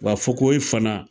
Wa fokohoye fana